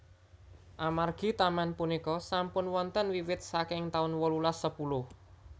Amargi taman punika sampun wonten wiwit saking taun wolulas sepuluh